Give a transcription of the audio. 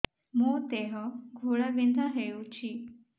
ମୋ ଦେହ ଘୋଳାବିନ୍ଧା ହେଉଛି